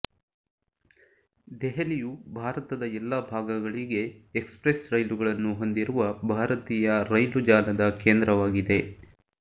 ದೆಹಲಿಯು ಭಾರತದ ಎಲ್ಲ ಭಾಗಗಳಿಗೆ ಎಕ್ಸ್ಪ್ರೆಸ್ ರೈಲುಗಳನ್ನು ಹೊಂದಿರುವ ಭಾರತೀಯ ರೈಲು ಜಾಲದ ಕೇಂದ್ರವಾಗಿದೆ